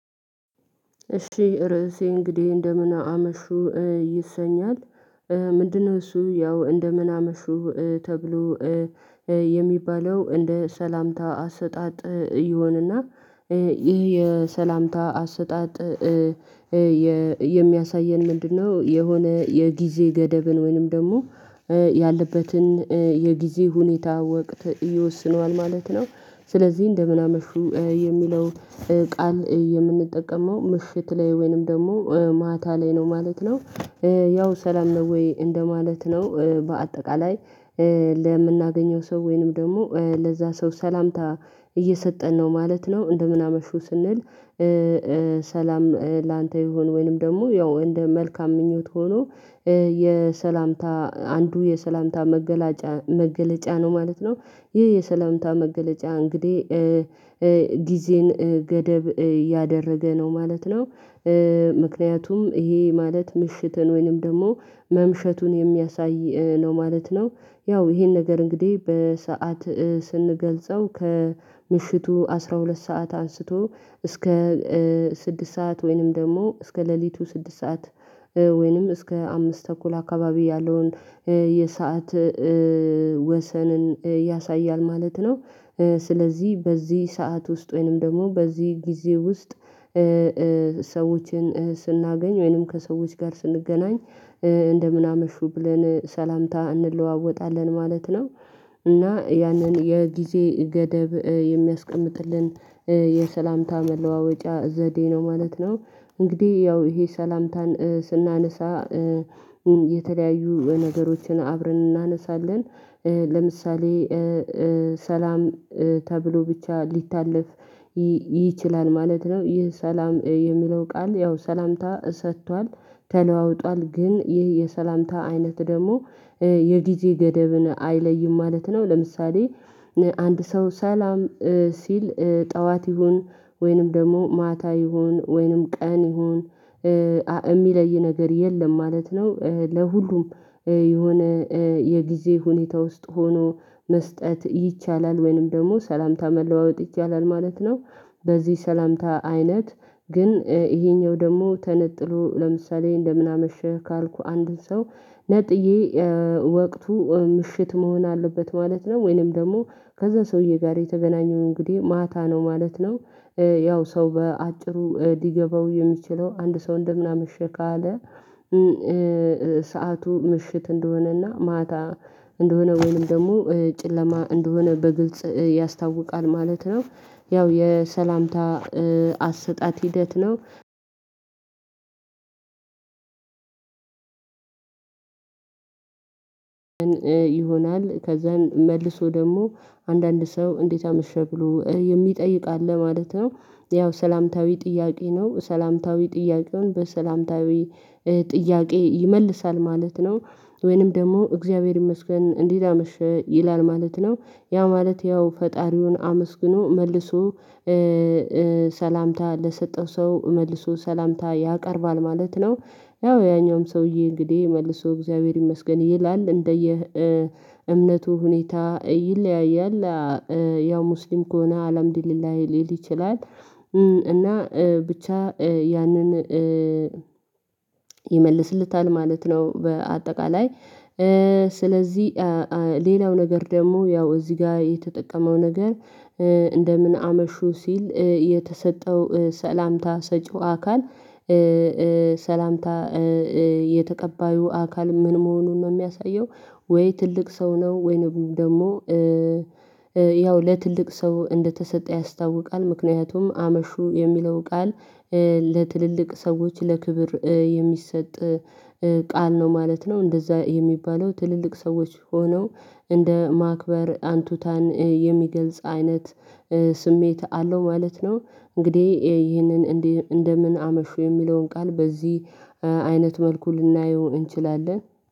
እሺ ርዕሴ እንግዲህ እንደምን አመሹ ይሰኛል ምንድነው እሱ ያው እንደምን አመሹ ተብሎ የሚባለው እንደ ሰላምታ አሰጣጥ ይሆንና ይህ የሰላምታ አሰጣጥ የሚያሳየን ምንድነው የሆነ የጊዜ ገደብን ወይንም ደግሞ ያለበትን የጊዜ ሁኔታ ወቅት ይወስነዋል ማለት ነው። ስለዚህ እንደምን አመሹ የሚለው ቃል የምንጠቀመው ምሽት ላይ ወይንም ደግሞ ማታ ላይ ነው ማለት ነው። ያው ሰላም ነው ወይ እንደማለት ነው በአጠቃላይ ለምናገኘው ሰው ወይንም ደግሞ ለዛ ሰው ሰላምታ እየሰጠን ነው ማለት ነው እንደምን አመሹ ስንል ሰላም ላንተ ይሁን ወይንም ደግሞ ያው እንደ መልካም ምኞት ሆኖ የሰላምታ አንዱ የሰላምታ መገለጫ መገለጫ ነው ማለት ነው ይህ የሰላምታ መገለጫ እንግዲህ ጊዜን ገደብ ያደረገ ነው ማለት ነው። ምክንያቱም ይሄ ማለት ምሽትን ወይንም ደግሞ መምሸቱን የሚያሳይ ነው ማለት ነው ያው ይሄን ነገር እንግዲህ በሰአት ስንገልጸው ከምሽቱ አስራ ሁለት ሰዓት አንስቶ እስከ ስድስት ሰዓት ወይንም ደግሞ እስከ ሌሊቱ ስድስት ሰዓት ወይንም እስከ አምስት ተኩል አካባቢ ያለውን የሰዓት ወሰንን ያሳያል ማለት ነው። ስለዚህ በዚህ ሰዓት ውስጥ ወይንም ደግሞ በዚህ ጊዜ ውስጥ ሰዎችን ስናገኝ ወይንም ከሰዎች ጋር ስንገናኝ እንደምን አመሹ ብለን ሰላምታ እንለዋወጣለን ማለት ነው። እና ያንን የጊዜ ገደብ የሚያስቀምጥልን የሰላምታ መለዋወጫ ዘዴ ነው ማለት ነው እንግዲህ ያው ይሄ ሰላምታን ስናነሳ የተለያዩ ነገሮችን አብረን እናነሳለን ለምሳሌ ሰላም ተብሎ ብቻ ሊታለፍ ይችላል ማለት ነው ይህ ሰላም የሚለው ቃል ያው ሰላምታ ሰጥቷል ተለዋውጧል ግን ይህ የሰላምታ አይነት ደግሞ የጊዜ ገደብን አይለይም ማለት ነው ለምሳሌ አንድ ሰው ሰላም ሲል ጠዋት ይሁን፣ ወይንም ደግሞ ማታ ይሁን፣ ወይንም ቀን ይሁን፣ የሚለይ ነገር የለም ማለት ነው ለሁሉም የሆነ የጊዜ ሁኔታ ውስጥ ሆኖ መስጠት ይቻላል ወይንም ደግሞ ሰላምታ መለዋወጥ ይቻላል ማለት ነው። በዚህ ሰላምታ አይነት ግን ይሄኛው ደግሞ ተነጥሎ ለምሳሌ እንደምን አመሽህ ካልኩ አንድን ሰው ነጥዬ ወቅቱ ምሽት መሆን አለበት ማለት ነው ወይንም ደግሞ ከዛ ሰውዬ ጋር የተገናኘው እንግዲህ ማታ ነው ማለት ነው። ያው ሰው በአጭሩ ሊገባው የሚችለው አንድ ሰው እንደ ምናምን አመሸ ካለ ሰዓቱ ምሽት እንደሆነና ማታ እንደሆነ ወይም ደግሞ ጨለማ እንደሆነ በግልጽ ያስታውቃል ማለት ነው ያው የሰላምታ አሰጣጥ ሂደት ነው። ይሆናል ከዛን መልሶ ደግሞ አንዳንድ ሰው እንዴት አመሸ ብሎ የሚጠይቅ አለ ማለት ነው ያው ሰላምታዊ ጥያቄ ነው ሰላምታዊ ጥያቄውን በሰላምታዊ ጥያቄ ይመልሳል ማለት ነው፣ ወይንም ደግሞ እግዚአብሔር ይመስገን እንዴት አመሸህ ይላል ማለት ነው ያ ማለት ያው ፈጣሪውን አመስግኖ መልሶ ሰላምታ ለሰጠው ሰው መልሶ ሰላምታ ያቀርባል ማለት ነው። ያው ያኛውም ሰውዬ እንግዲህ መልሶ እግዚአብሔር ይመስገን ይላል እንደየ እምነቱ ሁኔታ ይለያያል ያው ሙስሊም ከሆነ አላምዲሊላህ ሊል ይችላል፣ እና ብቻ ያንን ይመልስለታል ማለት ነው በአጠቃላይ ስለዚህ ሌላው ነገር ደግሞ ያው እዚህ ጋር የተጠቀመው ነገር እንደምን አመሹ ሲል የተሰጠው ሰላምታ ሰጪው አካል ሰላምታ የተቀባዩ አካል ምን መሆኑን ነው የሚያሳየው ወይ ትልቅ ሰው ነው ወይንም ደግሞ ያው ለትልቅ ሰው እንደተሰጠ ያስታውቃል ምክንያቱም አመሹ የሚለው ቃል ለትልልቅ ሰዎች ለክብር የሚሰጥ ቃል ነው ማለት ነው እንደዛ የሚባለው ትልልቅ ሰዎች ሆነው እንደ ማክበር አንቱታን የሚገልጽ አይነት ስሜት አለው ማለት ነው እንግዲህ ይህንን እንደምን አመሹ የሚለውን ቃል በዚህ አይነት መልኩ ልናየው እንችላለን።